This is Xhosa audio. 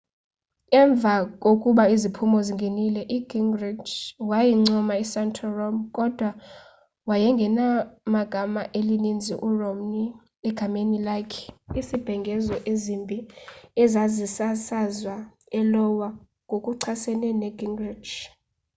emva kokuba iziphumo zingenile ugingrich wayincoma isantorum kodwa wayenegama elinzima kuromney egameni lakhe izibhengezo ezimbi ezazisasazwa eiowa ngokuchasene negingrich